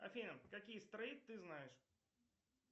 афина какие стрейт ты знаешь